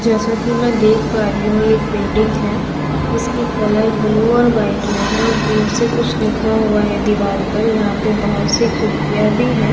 जैसा कि मैं देख पा रही हूं ये एक बिल्डिंग है इसकी कलर ब्लू और व्हाइट में है और ब्लू से कुछ लिखा हुआ है दिवार पर यहां पे बहुत सारी खिड़कियां भी है ।